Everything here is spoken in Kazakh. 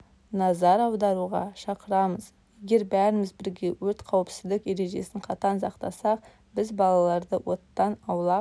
назар аударуға шақырамыз егер бәріміз бірге өрт қауіпсіздік ережесін қатаң сақтасақ біз баларды оттан аулақ